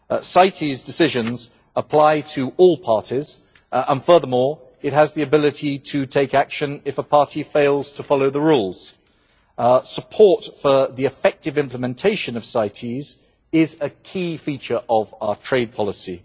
CITES decisions apply to all CITES parties and, furthermore, it has the ability to take action if a party fails to follow the rules. Support for the effective implementation of CITES is a key feature of our trade policy.